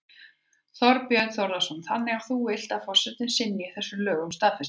Þorbjörn Þórðarson: Þannig að þú vilt að forsetinn synji þessum lögum staðfestingar?